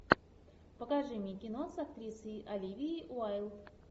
покажи мне кино с актрисой оливией уайльд